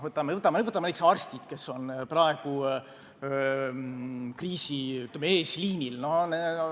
Võtame näiteks arstid, kes on praegu kriisi eesliinil.